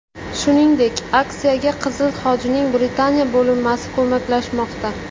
Shuningdek, aksiyaga Qizil Xochning Britaniya bo‘linmasi ko‘maklashmoqda.